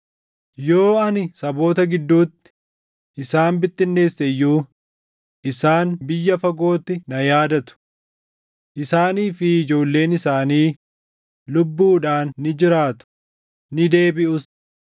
Yoo ani saboota gidduutti isaan bittinneesse iyyuu isaan biyya fagootti na yaadatu. Isaanii fi ijoolleen isaanii lubbuudhaan ni jiraatu; ni deebiʼus.